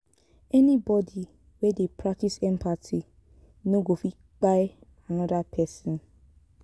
anybodi wey dey practice empathy no go fit kpai anoda pesin.